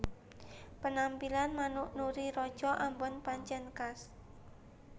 Penampilan manuk Nuri raja ambon pancèn khas